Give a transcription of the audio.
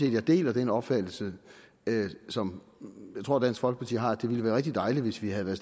at jeg deler den opfattelse som jeg tror dansk folkeparti har nemlig at det ville være rigtig dejligt hvis vi havde været